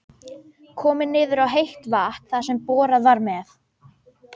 Komið niður á heitt vatn þar sem borað var með